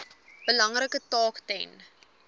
belangrike taak ten